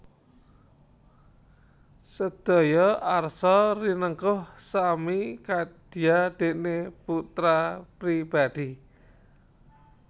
Sedaya arsa rinengkuh sami kadya dene putra pribadi